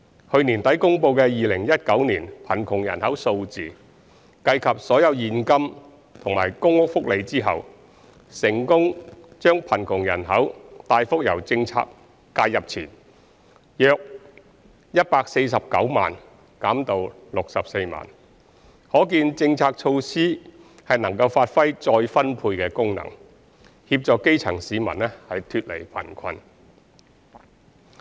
去年年底公布的2019年貧窮人口數字，計及所有現金和公屋福利後，成功把貧窮人口大幅由政策介入前約149萬減至64萬，可見政策措施能發揮再分配功能，協助基層市民脫離貧困。